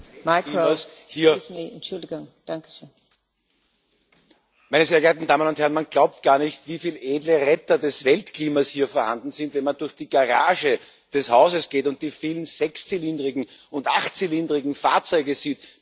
Frau Präsidentin, meine sehr verehrten Damen und Herren! Man glaubt gar nicht, wie viele edle Retter des Weltklimas hier vorhanden sind, wenn man durch die Garage des Hauses geht und die vielen sechszylindrigen und achtzylindrigen Fahrzeuge sieht mit einem entsprechend hohen Ausstoßvolumen.